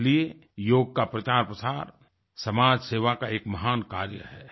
इसलिए योग का प्रचारप्रसार समाज सेवा का एक महान कार्य है